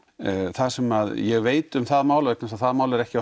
það sem ég veit um það mál vegna þess að það mál er ekki